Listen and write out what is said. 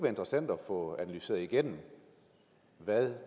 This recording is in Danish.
interessant at få analyseret igennem hvad